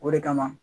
O de kama